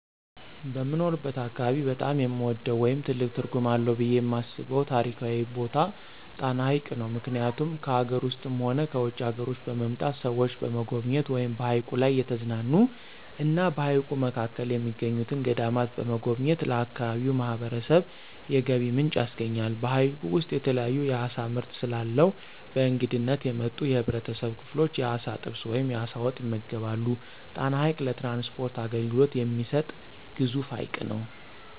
በምኖርበት አካባቢ በጣም የምወደው ወይም ትልቅ ትርጉም አለው ብየ የማስበው ታሪካዊ ቦታ ጣና ሀይቅ ነው። ምክኒያቱም ከአገር ውስጥም ሆነ ከውጭ አገሮች በመምጣት ሰዎች በመጎብኘት ወይም በሀይቁ ላይ እየተዝናኑ እና በሀይቁ መካከል የሚገኙትን ገዳማት በመጎብኘት ለአካባቢው ማህበረሰብ የገቢ ምንጭ ያስገኛል። በሀይቁ ውስጥ የተለያዩ የአሳ ምርት ስለአለው በእንግድነት የመጡ የህብረተሰብ ክፍሎች የአሳ ጥብስ ወይም የአሳ ወጥ ይመገባሉ። ጣና ሀይቅ ለትራንስፖርት አገልግሎት የሚሰጥ ግዙፍ ሀይቅ ነው።